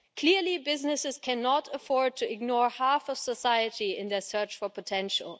Clearly businesses cannot afford to ignore half of society in their search for potential.